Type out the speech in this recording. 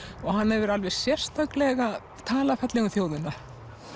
og hann hefur alveg sérstaklega talað fallega um þjóðina